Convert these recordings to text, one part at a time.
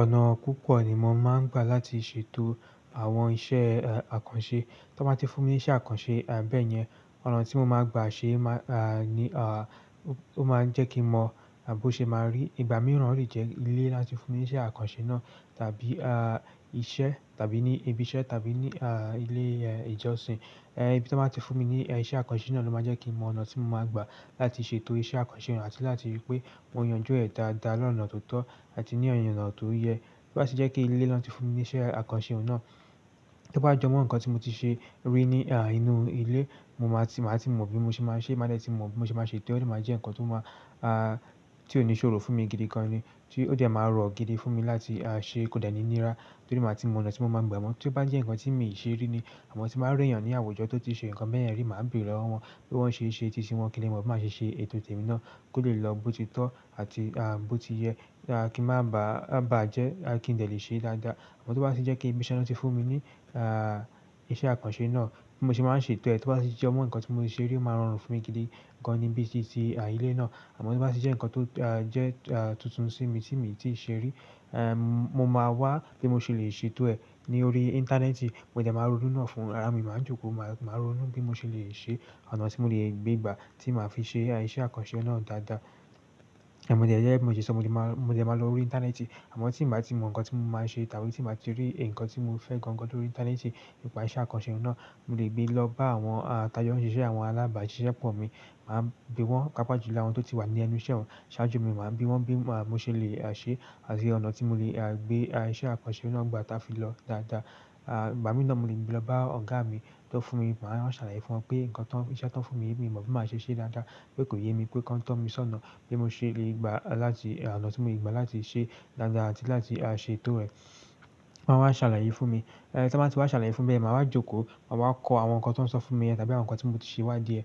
Ọ̀nà púpọ̀ ni mo máa ń gbà láti ṣètò àwọn iṣẹ́ àkànṣe. Tan bá ti fún mi ní iṣẹ́ àkànṣe bẹ́ẹ̀ yẹn, ọ̀nà tí mo máa gbà ṣe ni ó máa ń jẹ́ kí mo mọ bó ṣe máa rí. Ìgbà mìíràn o lè jẹ́ ilé láti fún mi ní iṣẹ́ àkànṣe náà tàbí iṣẹ́ tàbí ní ibi iṣẹ́ tàbí ní ilé ìjọsìn. Ibí tí wọ́n bá ti fún mi ní iṣẹ́ àkànṣe náà ló máa jẹ́ kí mo mọ ọ̀nà tí mo máa gbà láti ṣètò iṣẹ́ àkànṣe náà àti láti rí pé mo yànjú ẹ̀ dáadáa lọ́nà tó tọ́ àti ní ọ̀nà tó yẹ. Bí bá ṣe jẹ́ pé ilé ló ti fún mi ní iṣẹ́ àkànṣe náà, tí ó bá jẹ́ mọ́ ǹkan tí mo ti ṣe rí ní a inú ilé, mo máa ti mọ bí mo ṣe máa ṣe é, mo máa dẹ̀ ti mọ bí mo ṣe máa ṣe é, ó sì máa jẹ́ ǹkan tí ó máa, tí ó ní ṣòro fún mi gidi gan ni. Tí ó dẹ́ máa rọ̀ gidi fún mi láti ṣe, kò dẹ̀ ní nira, tó sì máa ti mọ ọ̀nà tí mo máa gbà ẹ̀ mọ́. Tí ó bá jẹ́ ǹkan tí mi ò ṣe rí ni, àmọ́ tí màá rí èèyàn ní àwùjọ tó ti ṣe ǹkan bẹ́ẹ̀ yẹn rí, màá bèèrè ọ́ wọ́n bí wọ́n ṣe ṣe é, tí iṣẹ́ wọn kíni, mo máa ṣe ṣe ètò tẹ̀mi náà kí ó lè lọ bó ti tọ́ àti bó ti yẹ kí n má bà á jẹ́ kí n lè ṣe é dáadáa. Àmọ́ tí ó bá ṣe jẹ́ pé ibi iṣẹ́ náà ti fún mi ní iṣẹ́ àkànṣe náà, bí mo ṣe máa ń ṣe é tẹ́, tí ó bá ṣe jẹ́ mọ́ ǹkan tí mo ti ṣe rí, ó máa rọrùn fún mi gidi gan ni bíi ti éleyii náà. Àmọ́ tí ó bá ṣe jẹ́ ǹkan tó jẹ́ tuntun sí mi tí mi ò tíì ṣe rí, mo máa wá bí mo ṣe lè ṣe é tẹ́ ní orí íńtánẹ́ẹ̀tì, mo dẹ̀ máa ronú náà fún ara mi, màá jókòó, màá ronú bí mo ṣe lè ṣe, àwọn ọ̀nà tí mo lè gbé gbà tí màá fi ṣe iṣẹ́ àkànṣe náà dáadáa. Gẹ̀gẹ bí mo ṣe sọ mo dẹ̀ máa lọ orí íńtánẹ́ẹ̀tì, àmọ́ tí bàá ti mọ ǹkan tí mo máa ṣe tàbí tí bàá ti rí ǹkan tí mo fẹ́ gan gan lórí íńtánẹ́ẹ̀tì nípa iṣẹ́ àkànṣe náà, mo lè gbé lọ bá àwọn tajo ṣiṣẹ́ àwọn alábàáṣiṣẹ́pọ̀ mi, màá bi wọ́n, pàápàá jù lọ àwọn tó ti wà ní ẹnu iṣẹ́ oun. Ṣiwáájú mi màá bi wọ́n bí mo ṣe lè ṣe àti ọ̀nà tí mo lè gbé iṣẹ́ àkànṣe náà gbà táa fi lọ dáadáa. Igbàámi náà mo lè gbé lọ bá ọ̀gá mi ti wón fún mi, màá ṣàlàyé fún wọn pé ǹkan tán, iṣẹ́ tán fún mi, mi ò mọ̀ bí màá ṣe ṣe é dáadáa, pé kò yé mi, pé kan to mi sọ́nà, bi mo ṣe lè gbà láti, ọ̀nà tí mo lè gbà láti ṣe é dáadáa àti láti ṣe é tọ́ ẹ. Won a wa salaye fún mi, ti won ba ti wa salaye fún be yen, maa wa joko maa wa ko àwọn nkan ti won so fún mi yen tàbí àwọn nkan ti mo ti se iwadie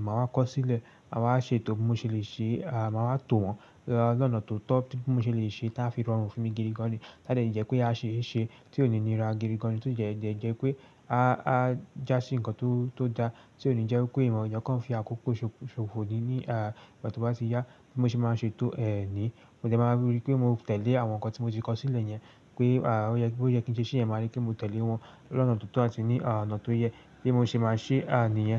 maa wa ko sile. Ma ṣètò e bi mo se le se, maa wa too wọ́n lọ́nà tó tọ́ tí mo ṣe lè ṣe ti a fi rọrùn fún mi gidi gan ni. A de jẹ́ pé a ṣe é ṣe tí ò ní nira gidi gan ni, tí ó dẹ́ jẹ́ pé a já sí ǹkan tó dá, tí ò ní jẹ́ wipé èèyàn kan fi àkókò ṣòfò ní, tí ó bá ti yá bí mo ṣe máa ṣe tò ẹ̀ ni. Mo dẹ̀ máa rí pé mo tẹ̀lé àwọn ǹkan tí mo ti kọ sílẹ̀ yẹn pé boyẹ kí n ṣe yẹn, màá rí pé mo tẹ̀lé wọn lọ́nà ti o to àti lọ́nà ti o ye, bi mo se maa se niyen.